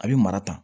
A bɛ mara ta